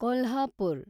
Kolhapur